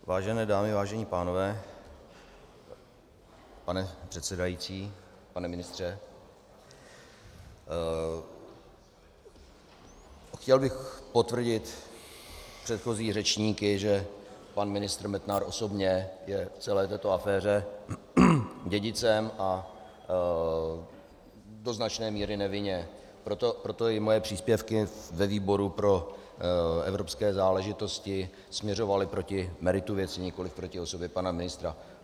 Vážené dámy, vážení pánové, pane předsedající, pane ministře, chtěl bych potvrdit předchozí řečníky, že pan ministr Metnar osobně je v celé této aféře dědicem a do značné míry nevinně, proto i moje příspěvky ve výboru pro evropské záležitosti směřovaly proti meritu věci, nikoliv proti osobě pana ministra.